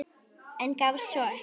En gafst svo upp.